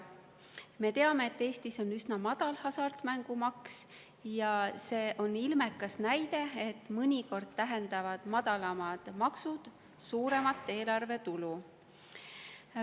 Me teame, et Eestis on üsna madal hasartmängumaks, ja see on ilmekas näide, et mõnikord tähendavad madalamad maksud suuremat eelarvetulu.